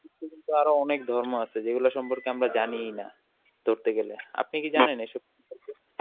আরো অনেক ধর্ম আছে যেগুলার সম্পর্কে আমরা জানিই না ধরতে গেলে, আপনি কি জানেন এইসব ?